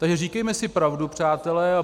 Takže říkejme si pravdu, přátelé.